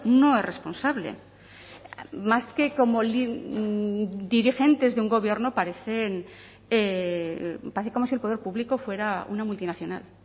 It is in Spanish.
no es responsable más que como dirigentes de un gobierno parecen parece como si el poder público fuera una multinacional